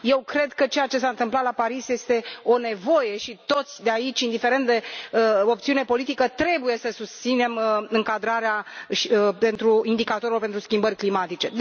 Eu cred că ceea ce s a întâmplat la Paris este o nevoie și toți de aici, indiferent de opțiune politică, trebuie să susținem încadrarea indicatorilor pentru schimbări climatice.